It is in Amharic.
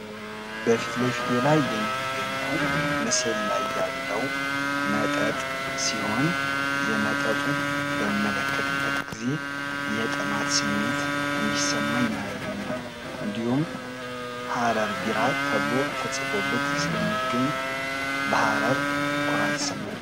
በፊት ለፊቴ ላይ የሚገኘው ምስል ላይ ያለው መጠጥ ሲሆን የመጠጡ በምንመልከትበት ጊዜ ጥማት ስሜት እንዲሰማኝ ያደርገኛል። እንዲሁም ሃረር ቢራ ተብሎ ተጽፎበት የሚገኝ በሃረር ኩራት ይሰማኛል።